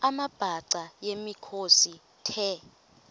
amabhaca yimikhosi the